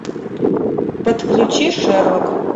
подключи шерлок